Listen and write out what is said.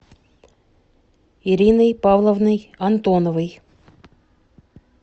ириной павловной антоновой